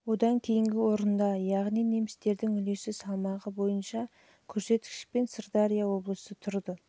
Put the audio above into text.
одан кейінгі орында яғни немістердің үлес салмағы бойынша көрсеткішпен сырдария облысы тұрды